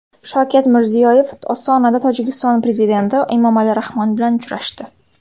Shavkat Mirziyoyev Ostonada Tojikiston prezidenti Emomali Rahmon bilan uchrashdi.